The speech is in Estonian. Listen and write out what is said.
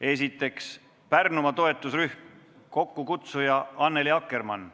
Esiteks, Pärnumaa toetusrühm, kokkukutsuja on Annely Akkermann.